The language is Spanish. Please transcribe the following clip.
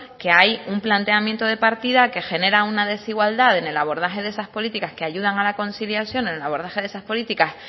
que hay un planteamiento de partida que genera una desigualdad en el abordaje de esas políticas que ayudan a la conciliación en el abordaje de esas políticas